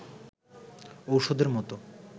ঔষধের মতো